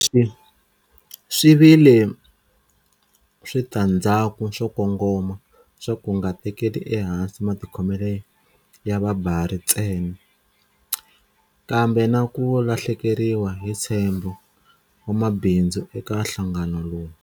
Leswi swi vi le switandzhaku swo kongoma swa ku nga tekeli ehansi matikhomelo ya vabari ntsena, kambe na ku lahlekeriwa hi ntshembo wa mabindzu eka nhlangano lowu.